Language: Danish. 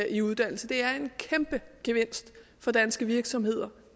i uddannelse det er en kæmpe gevinst for danske virksomheder